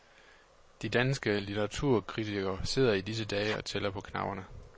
De danske litteraturkritikere sidder i disse dage og tæller på knapperne.